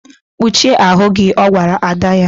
Kpuchie ahụ gị! Ọ gwara ada ya.